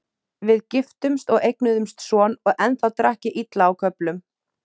Við giftumst og eignuðumst son og ennþá drakk ég illa á köflum.